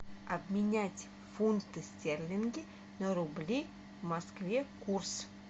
обменять фунты стерлинги на рубли в москве курс